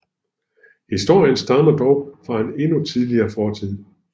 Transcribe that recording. Historien stammer dog fra en endnu tidligere fortid